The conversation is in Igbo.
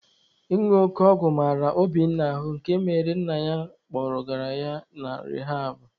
Ịñụ oke ọgwụ mara Obinna ahụ nke mere na nna ya kpọgara ya na rihabụ.